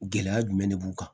Gɛlɛya jumɛn de b'u kan